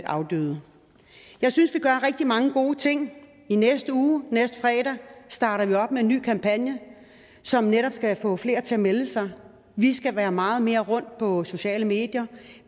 afdøde jeg synes vi gør rigtig mange gode ting i næste uge næste fredag starter vi op med en ny kampagne som netop skal få flere til at melde sig vi skal være meget mere rundt på sociale medier